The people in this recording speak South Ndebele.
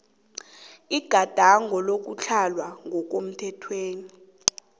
igadango lokutlhala ngokomthetho